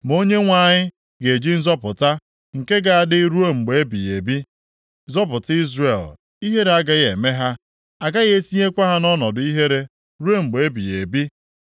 Ma Onyenwe anyị ga-eji nzọpụta nke ga-adị ruo mgbe ebighị ebi zọpụta Izrel. Ihere agaghị eme ha. A gaghị etinyekwa ha nʼọnọdụ ihe ihere ruo mgbe ebighị ebi.